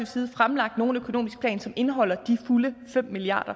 side fremlagt nogen økonomisk plan som indeholder de fulde fem milliard